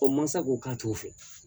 O mansa ko k'a t'o fɛ